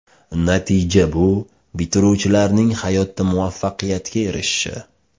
Natija bu bitiruvchilarning hayotda muvaffaqiyatga erishishi.